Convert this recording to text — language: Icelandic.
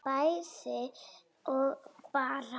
bæði og bara